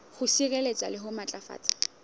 ho sireletsa le ho matlafatsa